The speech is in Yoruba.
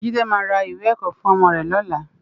Jide má iwé èkò fún òmò rè lòlá